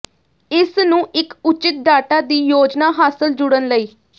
ਇਸ ਨੂੰ ਇੱਕ ਉਚਿਤ ਡਾਟਾ ਦੀ ਯੋਜਨਾ ਹਾਸਲ ਜੁੜਨ ਲਈ